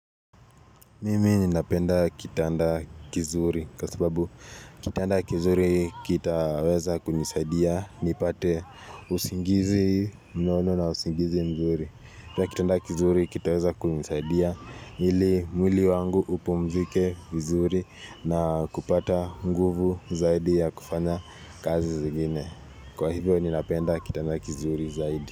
Mimi ninapenda kitanda kizuri kwa sababu kitanda kizuri kitaweza kunisaidia nipate usingizi mnono na usingizi mzuri. Kwa kitanda kizuri kitaweza kunisaidia ili mwili wangu upumzike vizuri na kupata nguvu zaidi ya kufanya kazi zingine. Kwa hivyo ninapenda kitanda kizuri zaidi.